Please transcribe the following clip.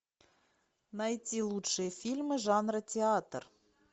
найти лучшие фильмы жанра театр